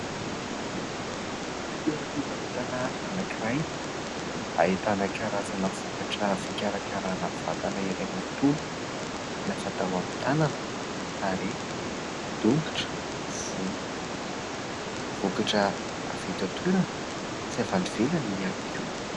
Toeram-pivarotana anankiray. Ahitana karazana vokatra fikarakaràna vatana iray manontolo na fatao amin'ny tanana, tarehy, tongotra, volo. Vokatra avy eto an-toerana sy avy any ivelany ihany koa.